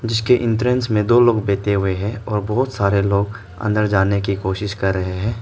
जिसके एंट्रेंस में दो लोग बैठे हुए हैं और बहुत सारे लोग अंदर जाने की कोशिश कर रहे हैं।